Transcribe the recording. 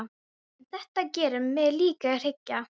En þetta gerir mig líka hrygga.